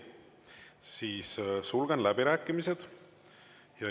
Siis sulgen läbirääkimised.